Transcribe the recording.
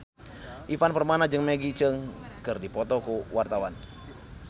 Ivan Permana jeung Maggie Cheung keur dipoto ku wartawan